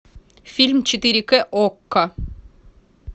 фильм четыре к окко